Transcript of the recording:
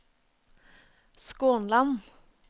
Skånland